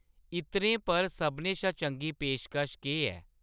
इत्तरें पर सभनें शा चंगी पेशकश केह् ऐ ?